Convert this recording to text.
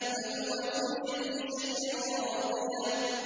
فَهُوَ فِي عِيشَةٍ رَّاضِيَةٍ